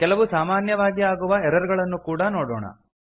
ಕೆಲವು ಸಾಮಾನ್ಯವಾಗಿ ಆಗುವ ಎರರ್ ಗಳನ್ನು ಕೂಡಾ ನೋಡೋಣ